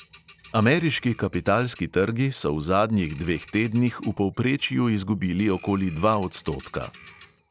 Ameriški kapitalski trgi so v zadnjih dveh tednih v povprečju izgubili okoli dva odstotka.